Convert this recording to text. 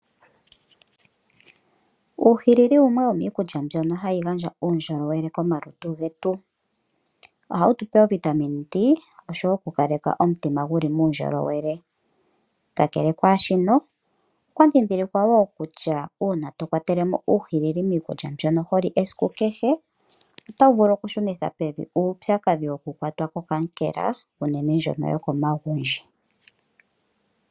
Uuhilili owo wumwe wo miikulya mbyono hayi gandja uundjolowele komalutu getu. Ohawu tu pe ovitamine d, oshowo okukaleka omutima guli muundjolowele. Kakele kwaashino, okwa dhidhilikwa wo kutya uuna to kwatelemo uuhilili miikulya mbyono ho li esiku kehe, oto vulu okushunitha pevi uupyakadhi wokukwatwa kokankela, enene ndjono yo komagundji.